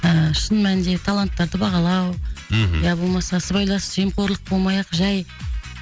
ыыы шын мәнінде таланттарды бағалау мхм я болмаса сыбайлас жемқорлық болмай ақ жай